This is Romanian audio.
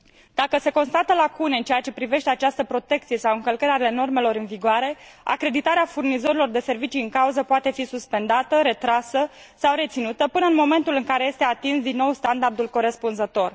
Dacă se constată lacune în ceea ce privește această protecție sau încălcări ale normelor în vigoare, acreditarea furnizorilor de servicii în cauză poate fi suspendată, retrasă sau reținută până în momentul în care este atins din nou standardul corespunzător.